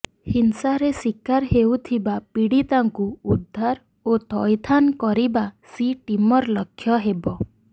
ହିଂସାରେ ଶିକାର ହେଉଥିବା ପିଡିତାକୁ ଉଦ୍ଧାର ଓ ଥଇଥାନ କରିବା ସି ଟିମର ଲକ୍ଷ୍ୟ ହେବ